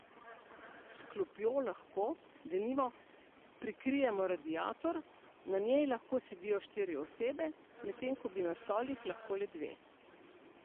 S klopjo lahko, denimo, prikrijemo radiator, na njej lahko sedijo štiri osebe, medtem ko bi na stolih lahko le dva.